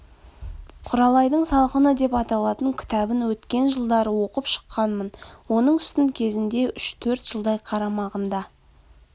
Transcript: құралайдың салқыны деп аталатын кітабын өткен жылдары оқып шыққанмын оның үстін кезінде үш төрт жылдай қарамағында